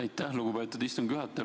Aitäh, lugupeetud istungi juhataja!